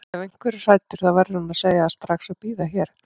Ef einhver er hræddur þá verður hann að segja það strax og bíða hér.